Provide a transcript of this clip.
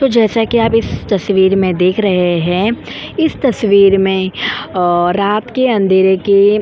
तो जैसा कि आप इस तस्वीर में देख रहे हैं इस तस्वीर में रात के अंधेरे के --